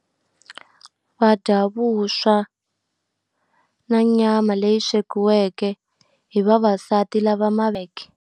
Va dya vuswa na nyama leyi swekiweke hi vavasati lava .